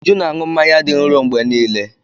Uju ná-aṅụ mmanya dị nro mgbe niile.